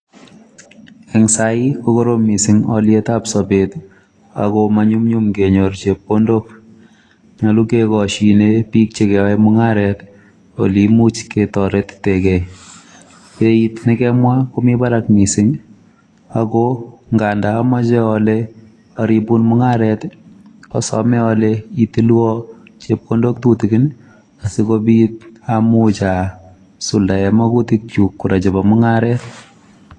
Ing' sai kokorom miising' aaliyet ab sabeet akomanyumnyum kenyor chepkondok. nyolu kekosine biik chekeyae mung'aret ole imuch ketarutegei. beeit nekemwa komi barak miising' ako nga ndaameche aale aribun mung'aret, asame ale itilwa chepkondok tutigin asikobiit amuch asuldae magutik chuk kora chebo mung'aret.